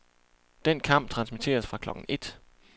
Den kamp transmitteres fra klokken et.